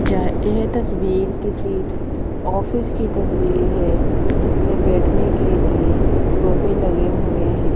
यह ये तस्वीर किसी ऑफिस की तस्वीर है जिसमें बैठने के लिए सोफे लगे हुए हैं।